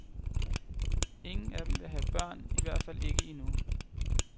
Ingen af dem vil have børn, i hvert fald ikke endnu.